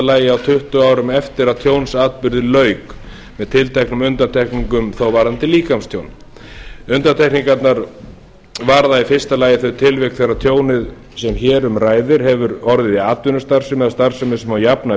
lagi á tuttugu árum eftir að tjónsatburði lauk með tilteknum undantekningum varðandi líkamstjón undantekningarnar varða í fyrsta lagi þau tilvik þegar tjónið sem hér um ræðir hefur orðið í atvinnustarfsemi eða starfsemi sem má jafna